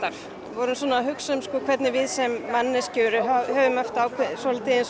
vorum að hugsa um hvernig við sem manneskjur höfum svolítið eins